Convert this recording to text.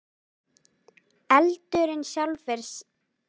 eldurinn sjálfur er samt ekki efnasambönd og heldur ekki frumeindir eða sameindir